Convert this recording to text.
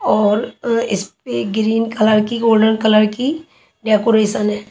और अः इस पे ग्रीन कलर की गोल्डन कलर की डेकोरेशन है।